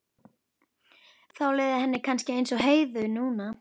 Þá liði henni kannski eins og Heiðu núna.